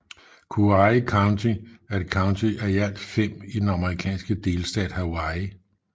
Kauai County er et county af i alt fem i den amerikanske delstat Hawaii